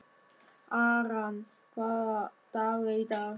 Aran, hvaða dagur er í dag?